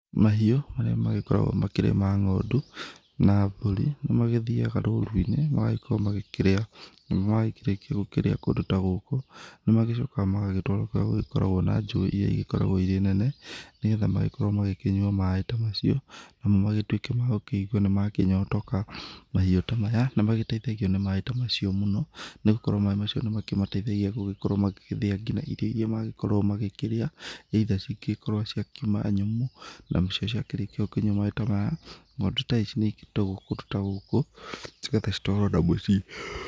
Mahiũ marĩa magĩkoragwo makĩrĩ ma ng'ondu na mbũri nĩ magĩthiaga rũru-inĩ magagĩkorwo magĩkĩrĩa. Na makĩrĩkia gũkĩrĩa kũndũ ta gũkũ, nĩ magĩcokaga magagĩtwarwo kũrĩa gũgĩkoragwo na njũĩ iria igĩkoragwo irĩ nene, nĩgetha magĩkorwo makĩkĩnyua maĩ ta macio, namo magĩtuĩke ma gũkĩigua nĩ makĩnyotoka. Mahiũ ta maya nĩ magĩteithagio nĩ maĩ ta macio mũno nĩ gũkorwo maĩ macio nĩ makĩteithia gũgĩkorwo magĩgĩthĩa nginya irio iria magĩkoragwo magĩkĩrĩa, either cigĩkorwo ciakiuma nyũmũ, nacio ciakĩrĩkia gũkĩnyua maĩ ta maya, ng'ondu ta ici nĩ ikĩrutagwo kũndũ ta gũkũ, nĩgetha citwarwo na mũciĩ